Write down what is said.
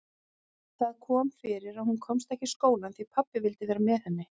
Það kom fyrir að hún komst ekki í skólann því pabbi vildi vera með henni.